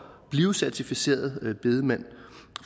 blive certificeret bedemand